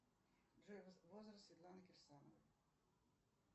джой возраст светланы кирсановой